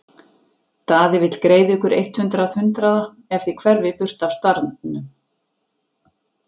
Daði vill greiða ykkur eitt hundrað hundraða ef þið hverfið burt af staðnum.